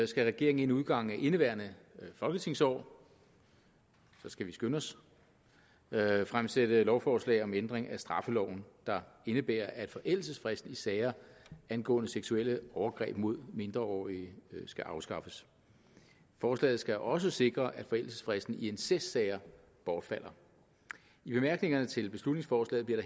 skal regeringen inden udgangen af indeværende folketingsår så skal vi skynde os fremsætte lovforslag om en ændring af straffeloven der indebærer at forældelsesfristen i sager angående seksuelle overgreb mod mindreårige skal afskaffes forslaget skal også sikre at forældelsesfristen i incestsager bortfalder i bemærkningerne til beslutningsforslaget bliver